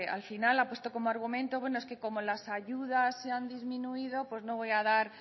al final ha puesto como argumento bueno es que las ayudas se han disminuido pues no voy a dar